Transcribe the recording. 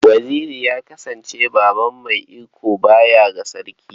Waziri ya kasance baban mai iko baya ga Sarki.